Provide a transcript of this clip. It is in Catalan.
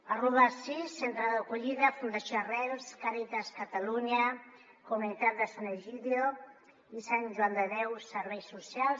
parlo d’assís centre d’acollida fundació arrels càritas catalunya comunitat de sant’egidio i sant joan de déu serveis socials